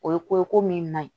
O ye ko ye ko min na